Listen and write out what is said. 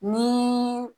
Ni